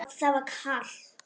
Það var kalt.